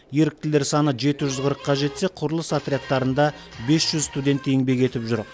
еріктілер саны жеті жүз қырыққа жетсе құрылыс отрядтарында бес жүз студент еңбек етіп жүр